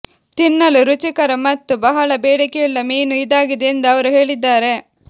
ತಿನ್ನಲು ರುಚಿಕರ ಮತ್ತು ಬಹಳ ಬೇಡಿಕೆಯುಳ್ಳ ಮೀನು ಇದಾಗಿದೆ ಎಂದು ಅವರು ಹೇಳಿದ್ದಾರೆ